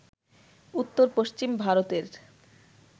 উত্তর-পশ্চিম ভারতের